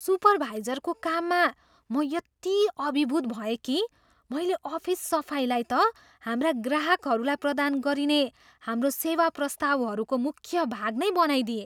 सुपरभाइजरको कामबाट म यति अभिभूत भएँ कि मैले अफिस सफाइलाई त हाम्रा ग्राहकहरूलाई प्रदान गरिने हाम्रो सेवा प्रस्तावहरूको मुख्य भाग नै बनाइदिएँ।